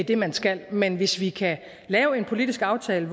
det man skal men hvis vi kan lave en politisk aftale